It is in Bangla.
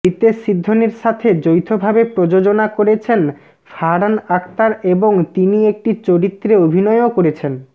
রিতেশ সিধ্বনীর সাথে যৌথভাবে প্রযোজনা করেছেন ফারহান আখতার এবং তিনি একটি চরিত্রে অভিনয়ও করেছেন